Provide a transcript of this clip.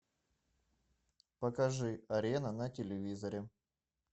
покажи арена на телевизоре